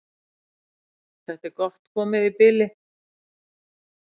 Þetta er komið gott í bili.